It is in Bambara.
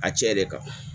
A cɛ de kan